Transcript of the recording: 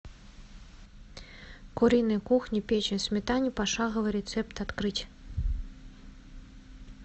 куриной кухни печень в сметане пошаговый рецепт открыть